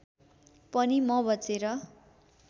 पनि म बचेर